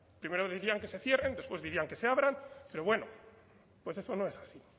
primero dirían que se cierren después dirían que se abran pero bueno pues eso no es así